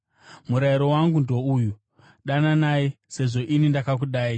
Murayiro wangu ndouyu: Dananai, sezvo ini ndakakudai.